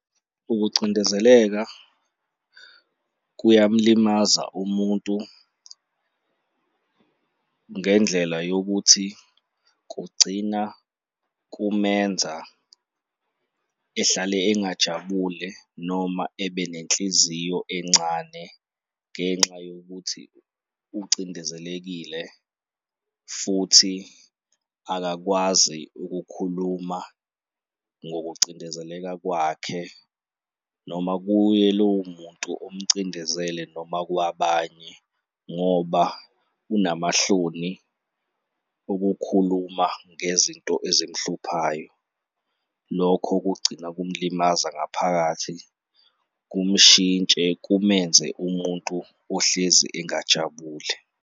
Ukucindezeleka kuyamlimaza umuntu ngendlela yokuthi kugcina kumenza ehlale engajabule noma ebe nenhliziyo encane ngenxa yokuthi ucindezelekile futhi akakwazi ukukhuluma ngokucindezeleka kwakhe noma kuye lowo muntu omcindezele noma kwabanye ngoba unamahloni okukhuluma ngezinto ezimhluphayo. Lokho kugcina kumulimaza ngaphakathi, kumahintshe kumenze umuntu ohlezi engajabule.